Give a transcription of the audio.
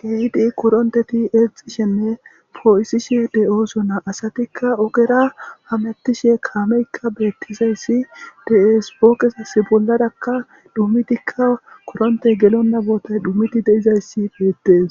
keehidi koronteti eexxishenne poo7isishe de7oosona asatikka ogera hamettishe kaameykka beettisayssi de7es pooqisas bolladakka dhumitikka kuronte gelon nabootay dhumiti deizayssi beettes